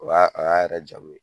O y'a o y'a yɛrɛ jamu ye